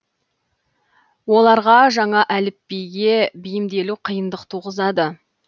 оларға жаңа әліпбиге бейімделу қиындық туғызады